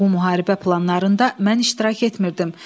Bu müharibə planlarında mən iştirak etmirdim.